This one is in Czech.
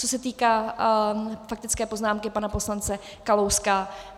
Co se týká faktické poznámky pana poslance Kalouska.